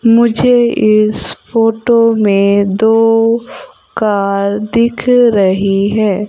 मुझे इस फोटो में दो कार दिख रही है।